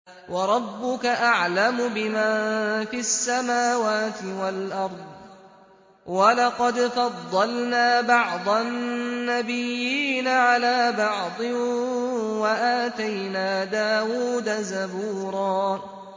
وَرَبُّكَ أَعْلَمُ بِمَن فِي السَّمَاوَاتِ وَالْأَرْضِ ۗ وَلَقَدْ فَضَّلْنَا بَعْضَ النَّبِيِّينَ عَلَىٰ بَعْضٍ ۖ وَآتَيْنَا دَاوُودَ زَبُورًا